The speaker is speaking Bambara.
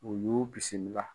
U y'u bisimila.